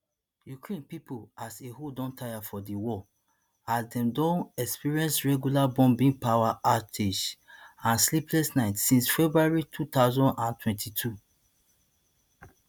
ukraine pipo as a whole don tire for di war as dem don experience regular bombings power outages and sleepless nights since february two thousand and twenty-two